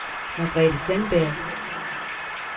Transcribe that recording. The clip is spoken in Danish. Margrethe Sandberg